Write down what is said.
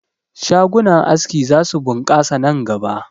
Shagunan aski za su ɓunkasa nan gaba